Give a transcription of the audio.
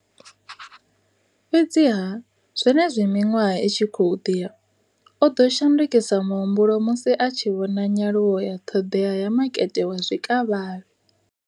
Fhedziha, zwenezwi miṅwaha i tshi khou ḓi ya, o ḓo shandukisa muhumbulo musi a tshi vhona nyaluwo ya ṱhoḓea ya makete wa zwikavhavhe.